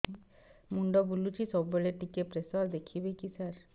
ମୁଣ୍ଡ ବୁଲୁଚି ସବୁବେଳେ ଟିକେ ପ୍ରେସର ଦେଖିବେ କି ସାର